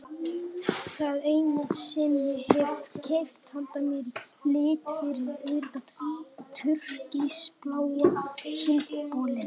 Það eina sem ég hef keypt handa mér í lit fyrir utan túrkisbláa sundbolinn.